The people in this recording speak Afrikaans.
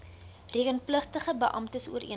rekenpligtige beamptes ooreengekom